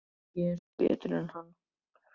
Kannske ertu engu betri en hann.